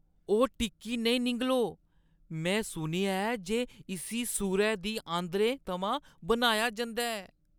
ओह् टिक्की नेईं निङलो। में सुनेआ ऐ जे इस्सी सूरै दियें आंदरें थमां बनाया जंदा ऐ।